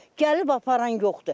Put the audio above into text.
Gəlib aparan yoxdur.